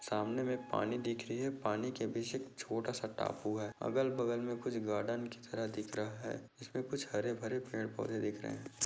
सामने मे एक पानी दिख रही है पानी के बीच एक छोटा सा टापू है अगल बगल मे कुछ गार्डन की तरह दिख रहा है जिसमे कुछ हरे-भरे पेड़-पौधे दिख रहे है।